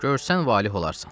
Görsən valeh olarsan.